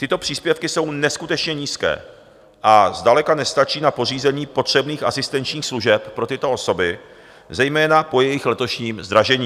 Tyto příspěvky jsou neskutečně nízké a zdaleka nestačí na pořízení potřebných asistenčních služeb pro tyto osoby, zejména po jejich letošním zdražení.